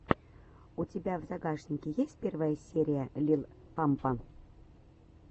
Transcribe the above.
у тебя в загашнике есть первая серия лил пампа